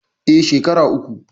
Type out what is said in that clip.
Eh, shekera uku